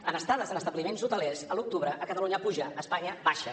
en estades en establiments hotelers a l’octubre a catalunya puja a espanya baixa